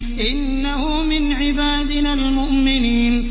إِنَّهُ مِنْ عِبَادِنَا الْمُؤْمِنِينَ